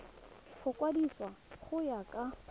go kwadisiwa go ya ka